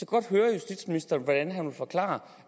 godt høre justitsministeren hvordan han vil forklare